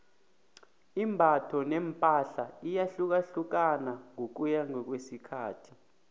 imbatho nepahla iyahlukahlukana ngokuya ngokwesikhathi